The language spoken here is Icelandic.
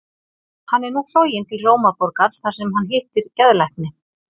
Hann er nú floginn til Rómarborgar þar sem hann hittir geðlækni.